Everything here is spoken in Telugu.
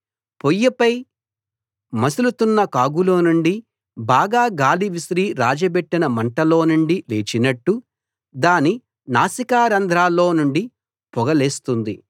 పొయ్యిపై మసులుతున్న కాగులోనుండి బాగా గాలి విసిరి రాజబెట్టిన మంటలోనుండి లేచినట్టు దాని నాసికా రంధ్రాల్లో నుండి పొగ లేస్తుంది